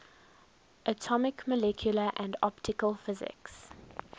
atomic molecular and optical physics